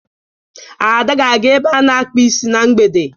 Ada ga-aga ebe a na-akpa isi na mgbede.